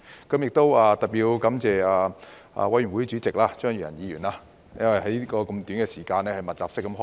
我要特別感謝法案委員會主席張宇人議員，因為要在這麼短時間內密集式開會。